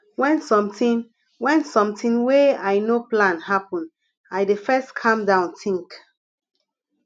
wen sometin wen sometin wey i no plan happen i dey first calm down tink